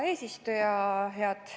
Hea eesistuja!